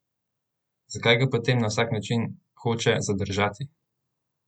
Zakaj ga potem na vsak način hoče zadržati?